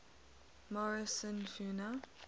morrison fauna